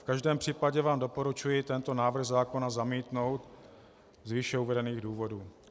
V každém případě vám doporučuji tento návrh zákona zamítnout z výše uvedených důvodů.